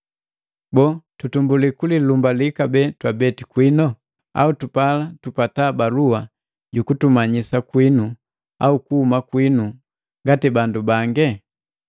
Boo, tutumbulii kulilumbali kabee twabeti kwino? Au tupala tupata balua jukutumanyisa kwinu au kuhuma kwinu, ngati bandu bange?